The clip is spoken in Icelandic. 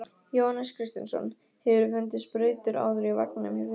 Jóhannes Kristjánsson: Hefurðu fundið sprautur áður í vagninum hjá þér?